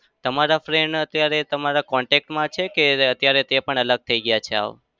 તમારા friend અત્યારે તમારા contact માં છે કે અત્યારે તે પણ અલગ થઇ ગયા છે હાવ?